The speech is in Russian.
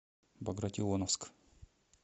багратионовск